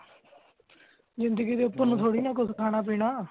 ਜਿੰਦਗੀ ਤੇ ਉਪਰ ਨੂੰ ਥੋੜੀ ਨਾ ਕੁਛ ਖਾਨਾ ਪੀਣਾ।